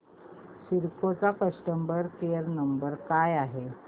Cisco चा customer care number काय आहे